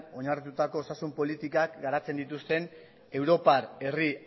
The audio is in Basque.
oinarritutako osasun politikak garatzen dituzten europar herri